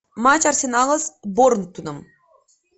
матч арсенала с борнмутом